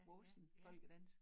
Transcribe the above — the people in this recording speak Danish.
Voksen folkedans